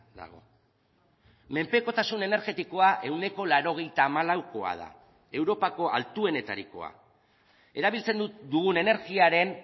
dago menpekotasun energetikoa ehuneko laurogeita hamalaukoa da europako altuenetarikoa erabiltzen dugun energiaren